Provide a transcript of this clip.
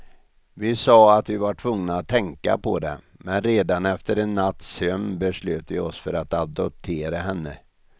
Vi sa att vi var tvungna att tänka på det, men redan efter en natts sömn beslöt vi oss för att adoptera henne.